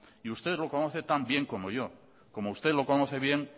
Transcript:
y usted lo conoce tan bien como yo como usted lo conoce bien